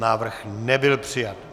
Návrh nebyl přijat.